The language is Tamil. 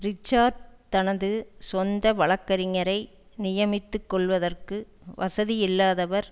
ரிச்சார்ட் தனது சொந்த வழக்கறிஞரை நியமித்துக்கொள்வதற்கு வசதியில்லாதவர்